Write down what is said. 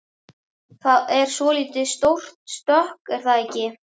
Það er svolítið stórt stökk er það ekki?